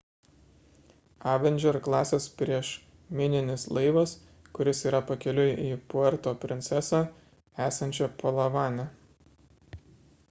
avenger klasės priešmininis laivas kuris yra pakeliui į puerto prinsesą esančią palavane